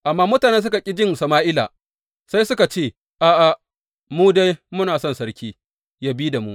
Amma mutanen suka ƙi jin Sama’ila, sai suka ce, A’a, mu dai, muna son sarki yă bi da mu.